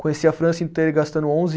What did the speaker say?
Conheci a França inteira gastando onze